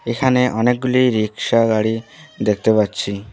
এখানে অনেকগুলি রিক্সা গাড়ি দেখতে পাচ্ছি।